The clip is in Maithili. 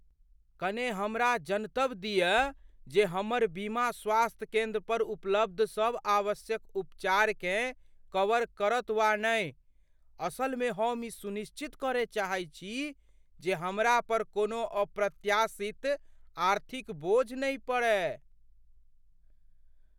कने हमरा जनतब दिय जे हमर बीमा, स्वास्थ्य केंद्र पर उपलब्ध सभ आवश्यक उपचारकेँ कवर करत वा नहि। असलमे हम ई सुनिश्चित करय चाहैत छी जे हमरा पर कोनो अप्रत्याशित आर्थिक बोझ नहि पड़य।